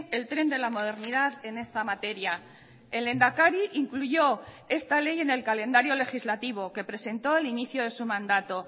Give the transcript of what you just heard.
el tren de la modernidad en esta materia el lehendakari incluyó esta ley en el calendario legislativo que presentó al inicio de su mandato